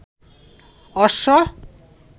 অর্শ